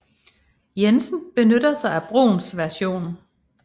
Jensen benytter sig af Bruhns version